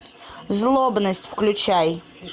злобность включай